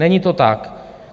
Není to tak.